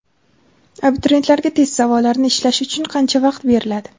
Abituriyentlarga test savollarini ishlash uchun qancha vaqt beriladi?.